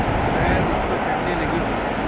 वह उस पर चढ़ने लगे